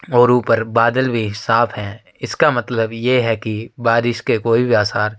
और ऊपर बादल भी साफ़ है। इसका मतलब ये है की बारिश के कोई बी आसार --